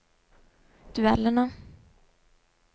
duellene